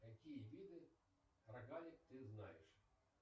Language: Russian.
какие виды рогалик ты знаешь